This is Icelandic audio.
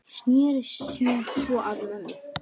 Sneri sér svo að mömmu.